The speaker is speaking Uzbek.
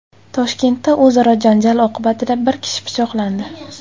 Toshkentda o‘zaro janjal oqibatida bir kishi pichoqlandi.